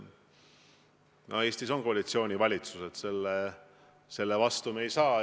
No Eestis on koalitsioonivalitsused, selle vastu me ei saa.